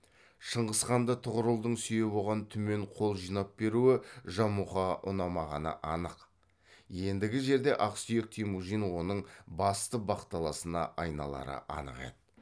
шыңғысханды тұғырылдың сүйеп оған түмен қол жинап беруі жамұқаға ұнамағаны анық ендігі жерде ақсүйек темужин оның басты бақталасына айналары анық еді